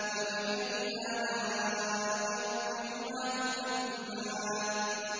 فَبِأَيِّ آلَاءِ رَبِّكُمَا تُكَذِّبَانِ